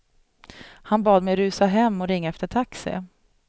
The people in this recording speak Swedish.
Han bad mig rusa hem och ringa efter taxi.